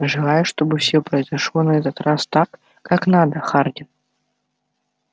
желаю чтобы все произошло на этот раз так как надо хардин